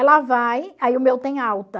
Ela vai, aí o meu tem alta.